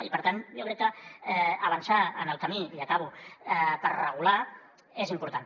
i per tant jo crec que avançar en el camí i acabo per regular és important